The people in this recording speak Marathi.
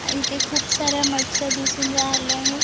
इथे खुप साऱ्या मच्छ्या दिसून राहिल्या आहे.